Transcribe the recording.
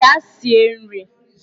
Gaa sie nri!